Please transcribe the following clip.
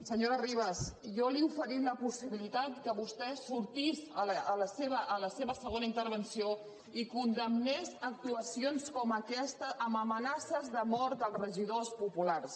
senyora ribas jo li he oferit la possibilitat que vostè sortís a la seva segona intervenció i condemnés actuacions com aquesta amb amenaces de mort als regidors populars